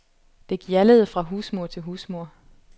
Det gjaldede fra husmur til husmur.